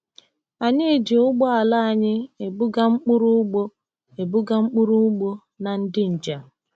Anyị ji ụgbọala anyị ebuga mkpụrụ ugbo ebuga mkpụrụ ugbo na ndị njem.